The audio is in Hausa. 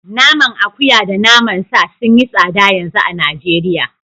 Naman akuya da naman sa sun yi tsada yanzu a Najeriya